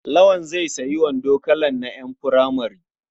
Lawal zai sayi wando kalan na ƴan furamare.